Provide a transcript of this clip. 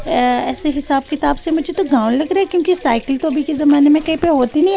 ऐ ऐसे हिसाब किताब से मुझे तो गाँव लग रहा है क्योंकि साइकिल तो अभी के जमाने में कहीं पे होती नहीं है।